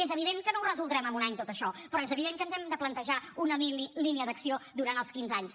és evident que no ho resoldrem en un any tot això però és evident que ens hem de plantejar una línia d’acció durant els quinze anys